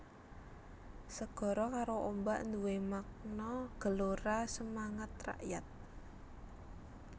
Segara karo ombak nduwè makna gelora semangat rakyat